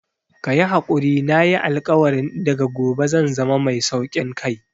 Kayi hakuri nayi alkawarin daga gobe zan zama mai saukin kai